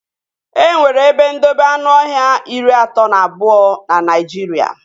E nwere ebe ndobe anụọhịa iri atọ na abụọ na Naijiria